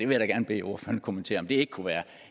vil da gerne bede ordføreren kommentere om det ikke kunne være